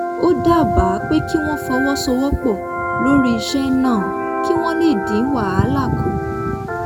ó dábàá pé kí wọ́n fọwọ́sowọ́pọ̀ lórí iṣẹ́ náà kí wọ́n lè dín wàhálà kù